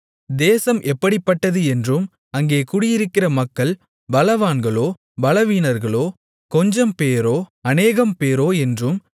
தேசம் எப்படிப்பட்டது என்றும் அங்கே குடியிருக்கிற மக்கள் பலவான்களோ பலவீனர்களோ கொஞ்சம்பேரோ அநேகம்பேரோ என்றும்